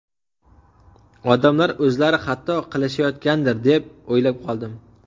Odamlar o‘zlari xato qilishayotgandir, deb o‘ylab qoldim!